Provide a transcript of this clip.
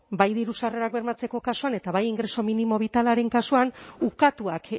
bai diru sarrerak bermatzeko kasuan eta bai ingreso mínimo vitalaren kasuan ukatuak